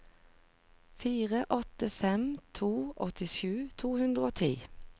fire åtte fem to åttisju to hundre og ti